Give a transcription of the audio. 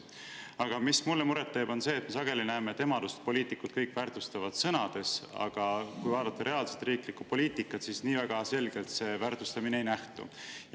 Aga mis mulle muret teeb, on see, et sageli me näeme, et emadust poliitikud kõik väärtustavad sõnades, aga kui vaadata reaalset riiklikku poliitikat, siis sealt seda väärtustamist nii selgelt ei nähtu.